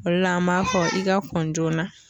O de la an b'a fɔ i ka kɔn joona